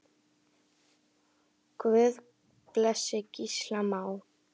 Guð blessi Gísla Má.